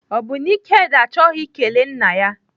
Ọ bụ na Ikedi achọghị ikele nna ya?